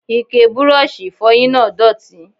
Ike Bírọ́ọ̀ṣì ìfọyín náà dọ̀tí.